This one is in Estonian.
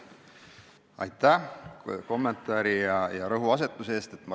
Aitäh kommentaari ja rõhuasetuse eest!